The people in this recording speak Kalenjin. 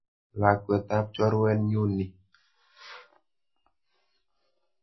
Lakwet ap chorwet nyu ni.